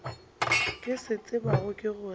ke se tsebago ke gore